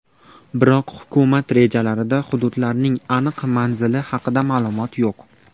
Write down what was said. Biroq hukumat rejalarida hududlarning aniq manzili haqida ma’lumot yo‘q.